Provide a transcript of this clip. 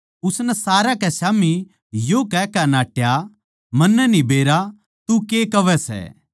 उसनै सारया कै स्याम्ही यो कहकै नाट्या मन्नै न्ही बेरा तू के कहवै सै